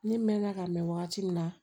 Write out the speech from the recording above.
Ne mɛnna ka mɛn wagati min na